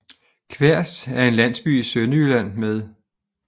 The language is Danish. Kværs er en landsby i Sønderjylland med